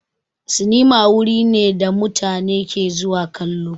Sinima wuri ne da mutane ke zuwa kallo.